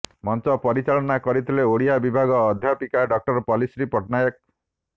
ମଞ୍ଚ ପରିଚାଳନା କରିଥିଲେ ଓଡିଆ ବିଭାଗ ଅଧ୍ୟାପିକା ଡଃ ପଲ୍ଲୀଶ୍ରୀ ପଟ୍ଟନାୟକ